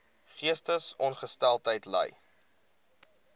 geestesongesteldheid ly